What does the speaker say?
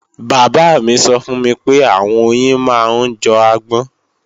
Bàbá mí sọ fún mi pé àwọn oyin máa ń jọ agbọ́n